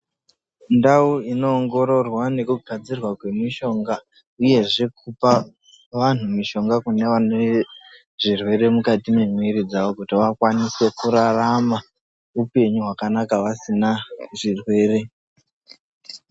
Ndau inoongororwa nekugadzirwa kwemishonga uyezve kupa vanhu mushonga kune ane zvirwere mukati mwemiri dzawo kuti akwanise kurarama upenyu hwakanaka asina zvirwere.